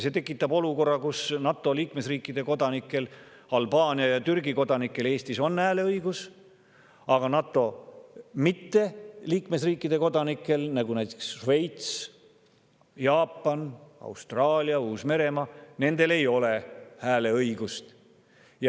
See tekitab olukorra, kus NATO liikmesriikide kodanikel, Albaania ja Türgi kodanikel Eestis on hääleõigus, aga NATO‑sse mittekuuluvate riikide kodanikel, nagu näiteks Šveits, Jaapan, Austraalia, Uus-Meremaa, ei ole hääleõigust.